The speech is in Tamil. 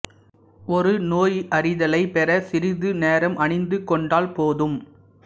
ஒரு நோயறிதலைப் பெற சிறிது நேரம் அணிந்து கொண்டால் போதும்